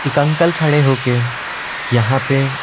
एक अंकल खड़े होके यहां पे--